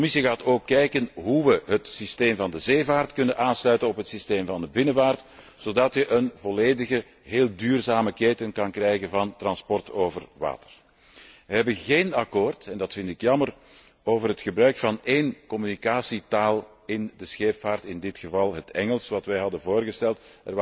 De Commissie gaat ook kijken hoe we het systeem van de zeevaart kunnen aansluiten op het systeem van de binnenvaart zodat je een volledige, heel duurzame keten kan krijgen van transport over water. We hebben geen akkoord en dat vind ik jammer over het gebruik van één communicatietaal in de scheepvaart, in dit geval het Engels, dat wij hadden voorgesteld.